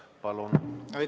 Palun!